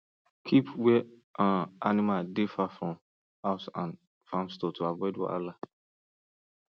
keep where um animal dey far from house and farm store to avoid wahala